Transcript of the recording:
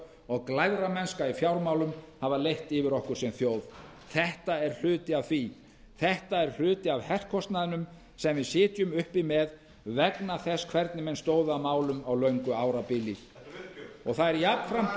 og glæframennska í fjármálum hafa leitt yfir okkur sem þjóð þetta er hluti af því þetta er hluti af herkostnaðinum sem við sitjum uppi með vegna þess hvernig menn stóðu að málum á löngu árabili og það er jafnframt